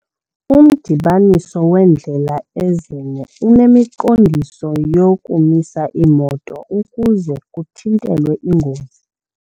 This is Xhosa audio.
Umdibaniso weendlela ezine unemiqondiso yokumisa iimoto ukuze kuthintelwe iingozi.